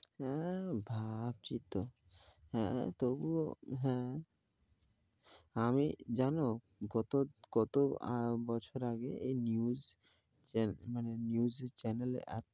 হ্যাঁ ভাবছি তো হ্যাঁ তুবুও হ্যাঁ আমি জানো গত~কত বছর আগে এই news channel মানে news channel.